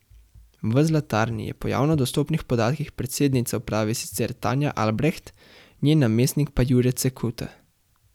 V Zlatarni je po javno dostopnih podatkih predsednica uprave sicer Tanja Albreht, njen namestnik pa Jure Cekuta.